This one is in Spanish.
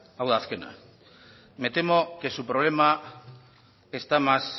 hau da azkena me temo que su problema está más